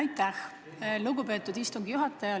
Aitäh, lugupeetud istungi juhataja!